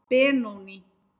Benóný